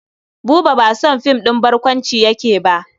Buba ba son film ɗin barkwanci yake ba.